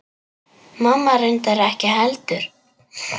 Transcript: Mamma reyndar ekki heldur.